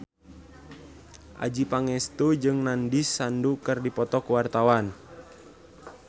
Adjie Pangestu jeung Nandish Sandhu keur dipoto ku wartawan